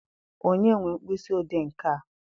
Onye nwe mkpịsị odee nke a?